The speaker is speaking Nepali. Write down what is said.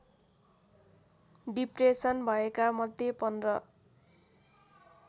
डिप्रेसन भएका मध्ये १५